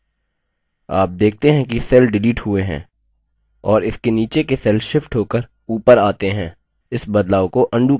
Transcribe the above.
आप देखते हैं कि cell shift हुए हैं और इसके नीचे के cell shift होकर ऊपर आता हैं इस बदलाव को अन्डू करते हैं